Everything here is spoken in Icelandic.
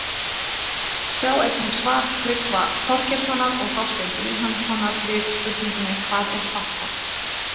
Sjá einnig svar Tryggva Þorgeirssonar og Þorsteins Vilhjálmssonar við spurningunni Hvað er svarthol?